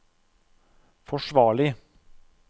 forsvarlig